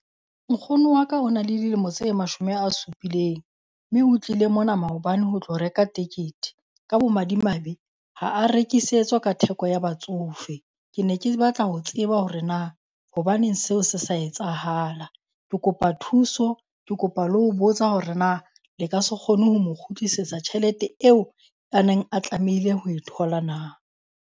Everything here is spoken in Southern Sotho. Nkgono wa ka o na le dilemo tse mashome a supileng, mme o tlile mona maobane ho tlo reka tekete. Ka bomadimabe ha a rekisetswa ka theko ya batsofe. Ke ne ke batla ho tseba hore na hobaneng seo se sa etsahala. Ke kopa thuso, ke kopa le ho botsa hore na le ka se kgone ho mo kgutlisetsa tjhelete eo ya neng a tlamehile ho e thola na?